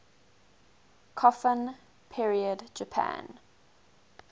kofun period japan